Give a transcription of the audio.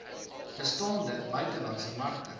bestaande buitelandse markte